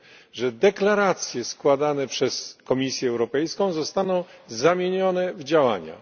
iż deklaracje składane przez Komisję Europejską zostaną zamienione w działania.